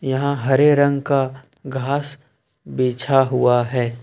यहां हरे रंग का घास बिछा हुआ है।